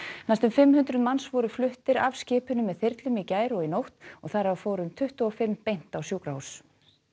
næstum fimm hundruð manns voru fluttir af skipinu með þyrlum í gær og nótt þar af tuttugu og fimm beint á sjúkrahús